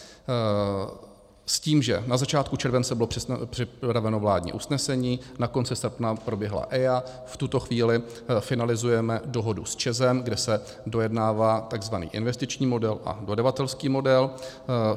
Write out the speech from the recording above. S tím, že na začátku července bylo připraveno vládní usnesení, na konci srpna proběhla EIA, v tuto chvíli finalizujeme dohodu s ČEZ, kde se dojednává tzv. investiční model a dodavatelský model.